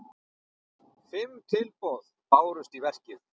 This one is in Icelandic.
Fimm tilboð bárust í verkið.